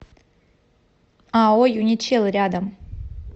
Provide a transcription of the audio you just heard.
ао юничел рядом